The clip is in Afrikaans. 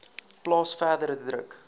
plaas verdere druk